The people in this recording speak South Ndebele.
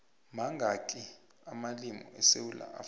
mangakhi amalimu esewula afrikha